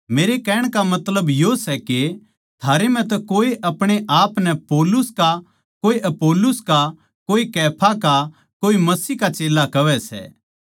मेरे कहण का मतलब यो सै के थारै म्ह तै कोए अपणे आपनै मेरा कोए अपुल्लोस का कोए कैफा का कोए मसीह का चेल्ला कहवै सै